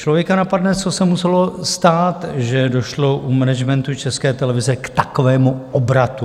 Člověka napadne, co se muselo stát, že došlo u managementu České televize k takovému obratu?